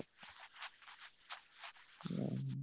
ହୁଁ,